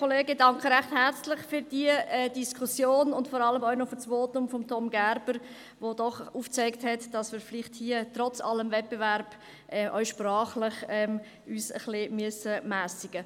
Ich danke recht herzlich für diese Diskussion und vor allem für das Votum von Tom Gerber, welches aufgezeigt hat, dass wir uns trotz allen Wettbewerbs auch sprachlich ein bisschen mässigen müssen.